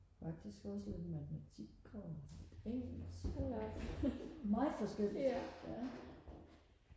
faktisk også lidt matematik og lidt engelsk meget forskelligt ja